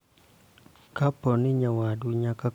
Kapo ni nyawadu nyaka kwayi omenda.